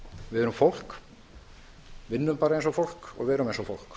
við erum fólk vinnum bara eins og fólk